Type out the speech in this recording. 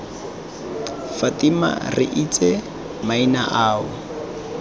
fatima re itse maina ao